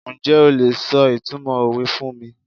Njẹ́ o lè sọ ìtumọ̀ òwe fún mi?